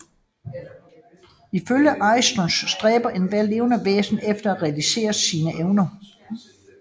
Ifølge Aristoteles stræber ethvert levende væsen efter at realisere sine evner